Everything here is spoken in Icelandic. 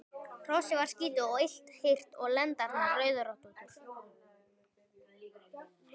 Hrossið var skítugt og illa hirt og lendarnar rauðröndóttar.